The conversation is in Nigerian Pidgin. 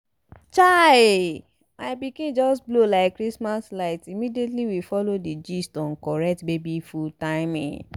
chai! my pikin just blow like christmas light immediately we follow the gist on correct baby food timing!